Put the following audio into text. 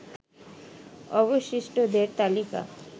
অবশিষ্টদের তালিকা